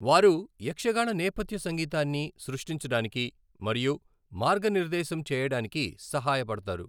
వారు యక్షగాన నేపథ్య సంగీతాన్ని సృష్టించడానికి మరియు మార్గనిర్దేశం చేయడానికి సహాయపడతారు.